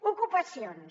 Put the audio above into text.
ocupacions